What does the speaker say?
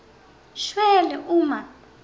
shwele uma